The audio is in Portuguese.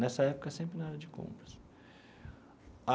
Nessa época, sempre na área de compras.